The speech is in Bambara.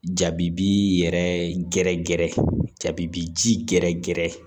Jabi bi yɛrɛ gɛrɛgɛrɛ jabi bi ji gɛrɛ gɛrɛ